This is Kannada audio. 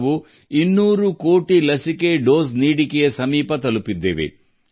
ನಾವು ಸುಮಾರು 200 ಕೋಟಿ ಲಸಿಕೆ ಡೋಸ್ ಗಳ ಸನಿಹದಲ್ಲಿದ್ದೇವೆ